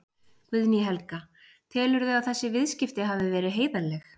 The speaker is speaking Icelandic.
Guðný Helga: Telurðu að þessi viðskipti hafi verið heiðarleg?